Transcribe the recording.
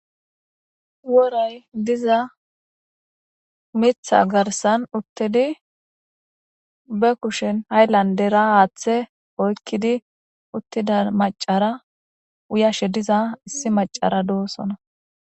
woray diza mitha garsan uttidi be kushen hayllandera aaththe oykkidi uttida macara uyashe diza issi macara doosona